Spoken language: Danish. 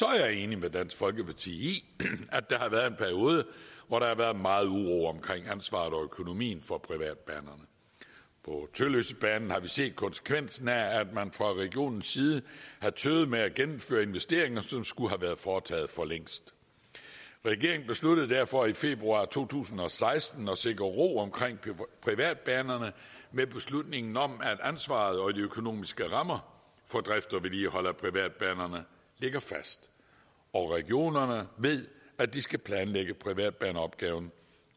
jeg er enig med dansk folkeparti i at der har været en periode hvor der har været meget uro omkring ansvaret og økonomien for privatbanerne på tølløsebanen har vi set konsekvensen af at man fra regionens side har tøvet med at gennemføre investeringer som skulle have været foretaget for længst regeringen besluttede derfor i februar to tusind og seksten at sikre ro omkring privatbanerne med beslutningen om at ansvaret og de økonomiske rammer for drift og vedligehold af privatbanerne ligger fast og regionerne ved at de skal planlægge privatbaneopgaven